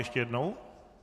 Ještě jednou?